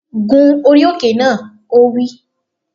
Gun orí òkè náà! Ó wí